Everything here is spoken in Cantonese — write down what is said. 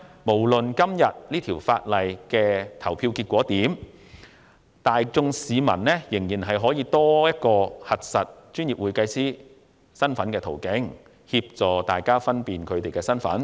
無論今天《條例草案》的表決結果為何，公會亦應提供多一個核實專業會計師身份的途徑，以協助市民確認會計師的身份。